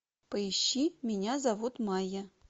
поищи меня зовут майя